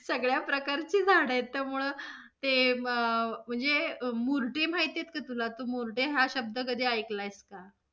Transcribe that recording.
सगळ्या प्रकारचे झाड आहे, त्यामुळ ते अं म्हणजे मुर्टे माहित आहेत काय तुला? तू मुर्टे हा शब्द कधी ऐकलाय का?